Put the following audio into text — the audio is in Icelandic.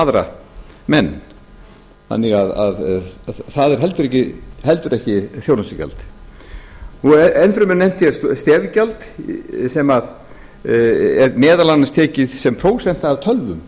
aðra menn þannig að það er heldur ekki þjónustugjald enn fremur nefndi ég stefgjald sem er meðal annars tekið sem prósenta af tölvum